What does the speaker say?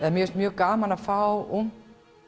mér finnst mjög gaman að fá ungt